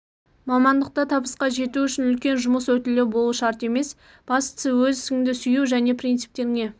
мамандықта табысқа жету үшін үлкен жұмыс өтілі болу шарт емес бастысы өз ісіңді сүю жне принциптеріңе